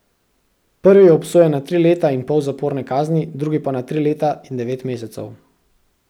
Prvi je obsojen na tri leta in pol zaporne kazni, drugi pa na tri leta in devet mesecev.